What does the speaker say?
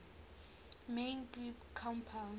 main group compounds